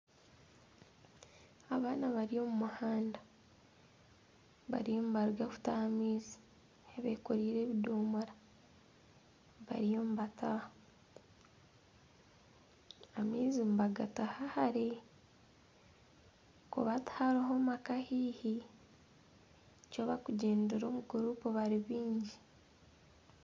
Abaana bari omu muhanda bariyo nibaruga kutaha amaizi bekoreire ebidoomora bariyo nibataaha. Amaizi nibagataha hare ahakuba tihariho maka haihi nikyo bakugyendera omu gurupu bari baingi.